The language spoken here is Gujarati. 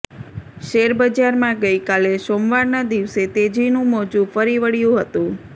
શેરબજારમાં ગઇકાલે સોમવારના દિવસે તેજીનું મોજુ ફરી વળ્યું હતું